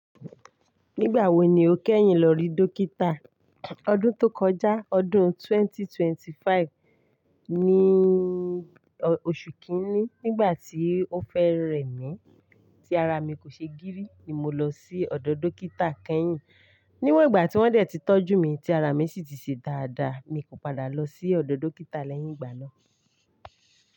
Nígbà wo ni o kẹ́yìn lọ rí dókítà? Ọdún tó kọjá, ọdún 2025, ní òṣù kìíní nígbà tí ó fẹ́ rẹ mí tí ara mi kò ṣe gírì ni mo lọ sí ọ̀dọ̀ dókítà kẹ́yìn. Níwọ̀n ìgbà tí wọ́n dẹ̀ ti tọ́jú mí tí ara mi sì ti ṣe dáadáa mi kò padà lọ sí ọ̀dọ̀ dókítà lẹ́yìn ìgbà náà.